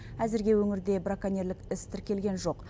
әзірге өңірде браконьерлік іс тіркелген жоқ